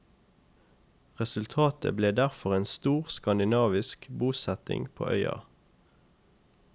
Resultatet ble derfor en stor skandinavisk bosetning på øya.